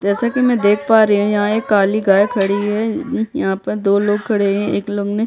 जैसा की मे देख आ रही हूँ यहाँ एक काली गाय खड़ी है यहाँ पर यहाँ पर दो लोग खड़े है एक लोग ने--